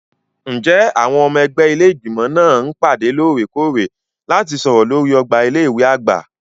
Ǹjẹ́ àwọn ọmọ ẹgbẹ́ ilé Ìgbìmọ̀ máa ń pàdé lóòrèkóòrè láti sọ̀rọ̀ lórí ọgbà ilé ìwé àgbà?